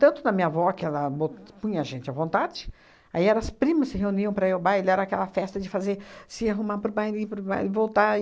Tanto na minha avó, que ela bo punha a gente à vontade, aí era as primas se reuniam para ir ao baile, era aquela festa de fazer se arrumar para o baile, ir para o baile voltar e